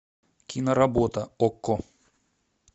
киноработа окко